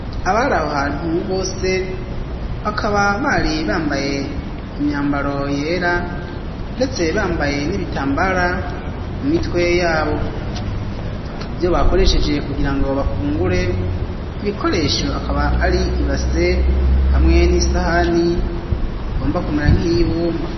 Abari aho hantu bose bakaba bari bambaye imyambaro yera ndetse bambaye n'ibitambara mu mitwe yabo muvyo bakoreshejeje kugirango bafungure ibikoresho akaba ari ibase hamwe n'isahani igomba kumera nk'ibumba.